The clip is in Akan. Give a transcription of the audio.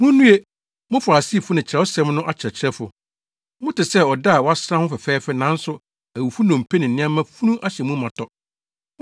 “Munnue! Mo Farisifo ne Kyerɛwsɛm no akyerɛkyerɛfo! Mote sɛ ɔda a wɔasra ho fɛfɛɛfɛ nanso awufo nnompe ne nneɛma funu ahyɛ mu ma tɔ.